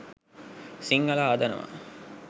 සිංහල හදනවා.